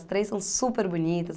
As três são super bonitas.